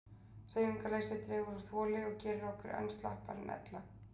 Hreyfingarleysi dregur úr þoli og gerir okkur enn slappari en ella.